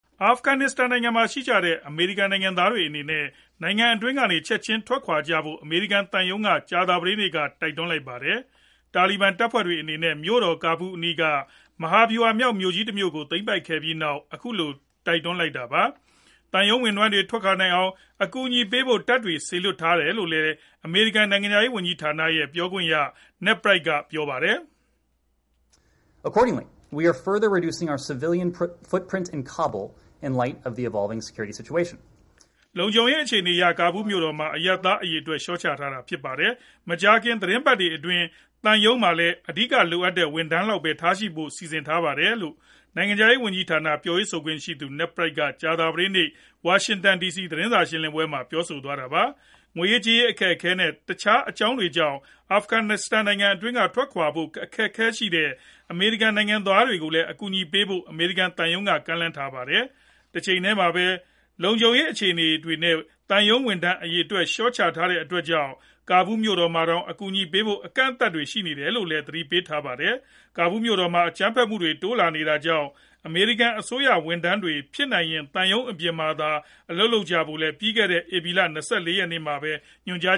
အာဖဂန်နစ္စတန်နိုင်ငံမှာရှိကြတဲ့ အမေရိကန်နိုင်ငံသားတွေအနေနဲ့ နိုင်ငံအတွင်းကနေ ချက်ချင်း ထွက်ခွာကြဖို့ အမေရိကန်သံရုံးက ကြာသပတေးနေ့မှာပဲ တိုက်တွန်းလိုက်ပါတယ်။ တာလီဘန်တပ်ဖွဲ့တွေအနေနဲ့ မြို့တော်ကာဘူးအနီးက မဟာဗျူဟာမြောက်မြို့ကြီးတခုကို သိမ်းပိုက်ခဲ့ပြီးနောက် အခုလို တိုက်တွန်းလိုက်တာပါ။ သံရုံးဝန်ထမ်းတွေ ထွက်ခွာနိုင်အောင် အကူအညီပေးဖို့ တပ်တွေ စေလွှတ်ထားတယ်လို့လည်း အမေရိကန် နိုင်ငံခြားရေးဝန်ကြီးဌာနက ပြောပါတယ်။ “လုံခြုံရေးအခြေအနေအရ ကာဘူးမြို့တော်မှာ အရပ်သားအရေအတွက် လျှော့ချနေတာဖြစ်ပါတယ်။ မကြာခင် သီတင်းပတ်တွေအတွင်း သံရုံးမှာ အဓိကလိုအပ်တဲ့ ဝန်ထမ်းလောက်ပဲ ထားရှိဖို့လည်း စီစဉ်ထားပါတယ်။” လို့ နိုင်ငံခြားရေး ဝန်ကြီးဌာန ပြောရေးဆိုခွင့်ရှိသူ Ned Price က ကြာသပတေးနေ့ ဝါရှင်တန်သတင်းစာ ရှင်းလင်းပွဲမှာ ပြောဆိုသွားတာပါ။ ငွေရေးကြေးရေး အခက်အခဲနဲ့ တခြားအကြောင်းတွေကြောင့် အာဖဂန်နစ္စတန်နိုင်ငံကနေ ချက်ခြင်းထွက်ခွာဖို့ အခက်အခဲရှိတဲ့ အမေရိကန်နိုင်ငံသားတွေကိုလည်း အကူအညီပေးဖို့ အမေရိကန်သံရုံးက ကမ်းလှမ်းထားပါတယ်။ တချိန်တည်းမှာပဲ လုံခြုံရေး အခြေအနေတွေနဲ့ သံရုံးဝန်ထမ်း အရေအတွက် လျော့ချထားတဲ့အတွက် ကာဘူးမြို့တော်မှာတောင် အကူအညီပေးဖို့ အကန့်အသတ်တွေရှိနေတယ်လို့လည်း သတိပေးထားပါတယ်။ ကဘူးမြို့တော်မှာ အကြမ်းဖက်မှုတွေ တိုးလာနေတာကြောင့် အမေရိကန် အစိုးရ ဝန်ထမ်းတွေ ဖြစ်နိုင်ရင် သံရုံးအပြင်မှာသာ အလုပ်လုပ်ကြဖို့လည်း ပြီးခဲ့တဲ့ ဧပြီလ ၂၇ ရက်နေ့မှာပဲ ညွန်ကြား